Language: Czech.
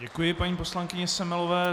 Děkuji paní poslankyni Semelové.